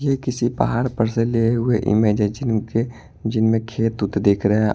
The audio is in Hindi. ये किसी पहाड़ पर से लिए हुए इमेज है जिनके जिनमें खेत उत दिख रहे हैं ।